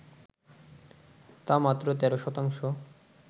তা মাত্র ১৩ শতাংশ